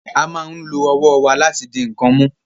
A máa ń lo ọwọ́ wa láti di nǹkan mú